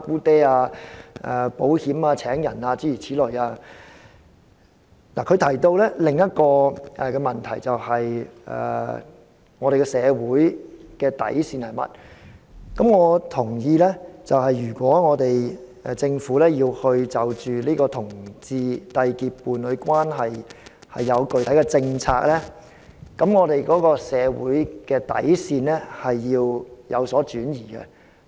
此外，涂謹申議員又提到另一個問題，就是社會的底線，我同意如果政府要就同志締結伴侶關係建立具體的政策，社會的底線需要有所轉移。